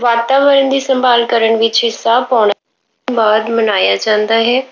ਵਾਤਾਵਰਣ ਦੀ ਸੰਭਾਲ ਕਰਨ ਵਿੱਚ ਹਿੱਸਾ ਪਾਉਣਾ, ਬਾਅਦ ਮਨਾਇਆ ਜਾਂਦਾ ਹੈ।